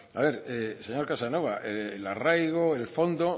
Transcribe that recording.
a ver señor casanova el arraigo el fondo